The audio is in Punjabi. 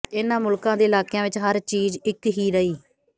ਇਹਨਾਂ ਮੁਲਕਾਂ ਦੇ ਇਲਾਕਿਆਂ ਵਿੱਚ ਹਰ ਚੀਜ਼ ਇੱਕ ਹੀ ਰਹੀ